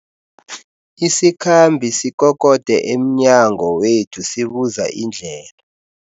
Isikhambi sikokode emnyango wethu sibuza indlela.